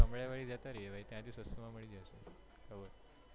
ત્યાં થી સસ્તા માં મળી જશે cover